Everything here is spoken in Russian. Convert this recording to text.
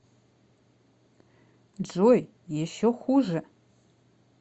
джой еще хуже